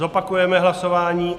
Zopakujeme hlasování.